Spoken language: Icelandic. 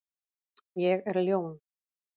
Ég er ljón.